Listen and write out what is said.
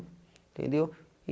Entendeu?